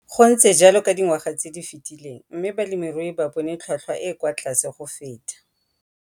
Go ntse jalo ka dingwaga tse di fetileng mme balemirui ba bone tlhotlhwa e e kwa tlase go feta.